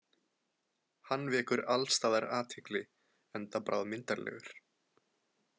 Hann vekur alls staðar athygli, enda bráðmyndarlegur.